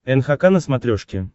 нхк на смотрешке